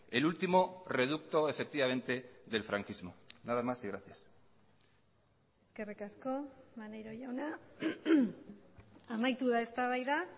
el último reducto efectivamente del franquismo nada más y gracias eskerrik asko maneiro jauna amaitu da eztabaida